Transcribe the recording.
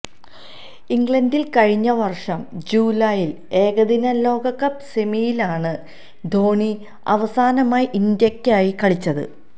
ഇംഗ്ലണ്ടില് കഴിഞ്ഞ വര്ഷം ജൂലൈയില് ഏകദിന ലോകകപ്പ് സെമിയിലാണ് ധോണി അവസാനമായി ഇന്ത്യക്കായി കളിച്ചത്